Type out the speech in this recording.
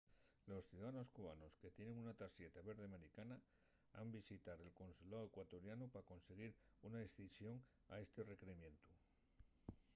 los ciudadanos cubanos que tienen una tarxeta verde americana han visitar el consuláu ecuatorianu pa consiguir una esceición a esti requerimientu